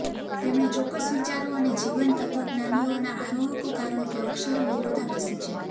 તેમણે ચોક્કસ વિચારો અને જીવન તત્વજ્ઞાનીઓ ના આરોહકો કારણ કે અક્ષરો વિરોધાભાસી છે